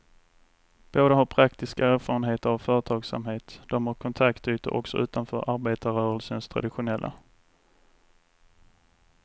Båda har praktiska erfarenheter av företagsamhet, de har kontaktytor också utanför arbetarrörelsens traditionella.